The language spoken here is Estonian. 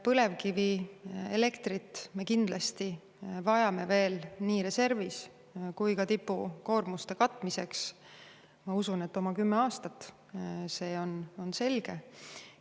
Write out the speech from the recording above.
Põlevkivielektrit me kindlasti vajame veel nii reservis kui ka tipukoormuste katmiseks, ma usun, oma kümme aastat veel, see on selge.